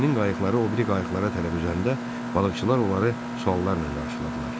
Gəminin qayıqları o biri qayıqlara tərəf üzəndə balıqçılar onları suallarla qarşıladılar.